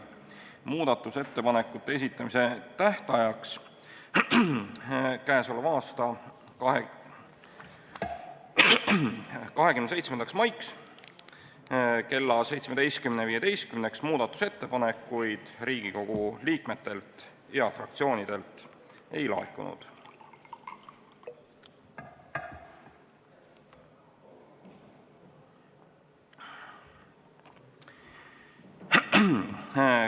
Muudatusettepanekute esitamise tähtajaks, k.a 27. maiks kella 17.15-ks muudatusettepanekuid Riigikogu liikmetelt ja fraktsioonidelt ei laekunud.